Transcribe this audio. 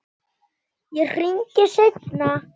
Ég hringi seinna.